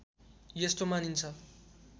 यस्तो मानिन्छ